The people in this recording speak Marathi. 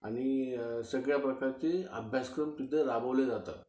आणि सगळ्या प्रकारचे अभ्यासक्रम तिथं राबवले जातात